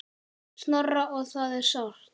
Snorra og það er sárt.